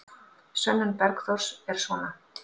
Sönnun Bergþórs er svona: